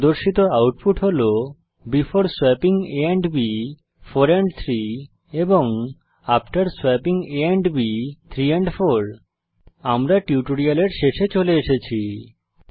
প্রদর্শিত আউটপুট হল before swapping a and b 4 and 3 after swapping a and b 3 and 4 আমরা টিউটোরিয়ালের শেষে চলে এসেছি